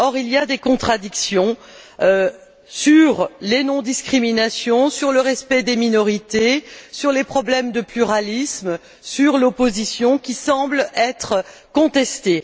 Or, il y a des contradictions sur les non discriminations, sur le respect des minorités, sur les problèmes de pluralisme, sur l'opposition, qui semblent être contestées.